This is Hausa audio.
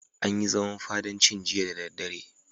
An yi zaman fadancin jiya da daddare.